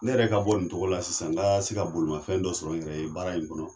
Ne yɛrɛ ka bɔ nin tɔgɔ la sisan n ka se ka bolimafɛn dɔ sɔrɔ in yɛrɛ ye baara in kɔnɔ